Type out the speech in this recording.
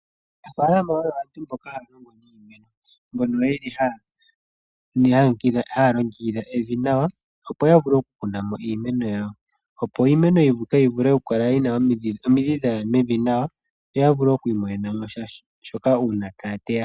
Aanafaalama oyo aantu mboka ha ya longo niimeno, mbyono yeli haya longekidha evi nawa opo ya vule oku kuna mo iimeno yawo opo iimeno mbika yivule okukala yina omidhi dhaya mevi nawa, yo ya vule oku imonena mosha shoka uuna taya teya.